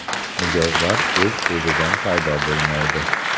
Mijozlar o‘z-o‘zidan paydo bo‘lmaydi.